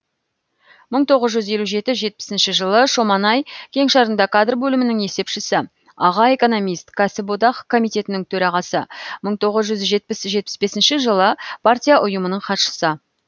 мың тоғыз жүз елу жеті жетпісінші жылы шоманай кеңшарында кадр бөлімінің есепшісі аға экономист кәсіподақ комитетінің төрағасы мың тоғыз жүз жетпіс жетпіс бесінші жылы партия ұйымының хатшысы